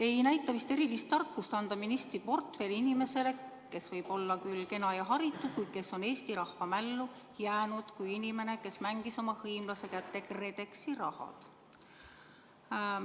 Ei näita vist erilist tarkust anda ministriportfell inimesele, kes võib olla küll kena ja haritud, kuid kes on Eesti rahva mällu jäänud kui inimene, kes mängis oma hõimlase kätte KredExi raha.